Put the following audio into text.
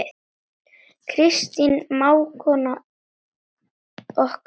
Kristín mágkona okkar er öll.